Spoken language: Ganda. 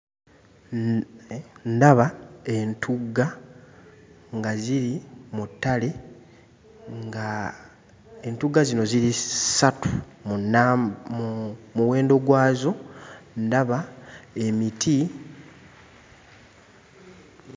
Ndaba entugga nga ziri mu ttale, ng'entugga zino ziri ssatu mu nna mu muwendo gwazo, ndaba emiti...